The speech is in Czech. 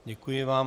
Děkuji vám.